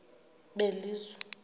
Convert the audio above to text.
belizwe